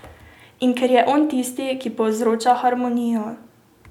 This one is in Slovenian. In ker je on tisti, ki povzroča harmonijo.